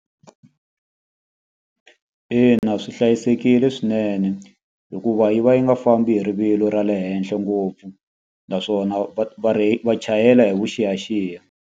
Ina swi hlayisekile swinene, hikuva yi va yi nga fambi hi rivilo ra le henhla ngopfu. Naswona va va va chayela hi vuxiyaxiya.